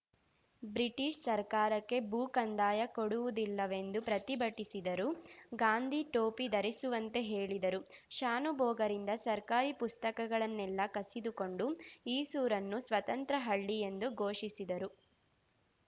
British ಸರ್ಕಾರಕ್ಕೆ ಭೂಕಂದಾಯ ಕೊಡುವುದಿಲ್ಲವೆಂದು ಪ್ರತಿಭಟಿಸಿದರು ಗಾಂಧಿ ಟೋಪಿ ಧರಿಸುವಂತೆ ಹೇಳಿದರು ಶಾನುಭೋಗರಿಂದ ಸರ್ಕಾರಿ ಪುಸ್ತಕಗಳನ್ನೆಲ್ಲಾ ಕಸಿದುಕೊಂಡು ಈಸೂರನ್ನು ಸ್ವತಂತ್ರ ಹಳ್ಳಿ ಎಂದು ಘೋಷಿಸಿದರು